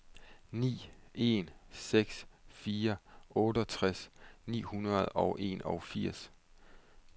ni en seks fire otteogtres ni hundrede og enogfirs